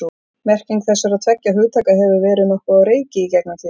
merking þessara tveggja hugtaka hefur verið nokkuð á reiki í gegnum tíðina